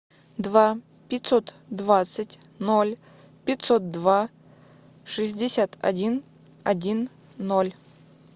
два пятьсот двадцать ноль пятьсот два шестьдесят один один ноль